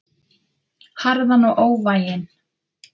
Harðan og óvæginn.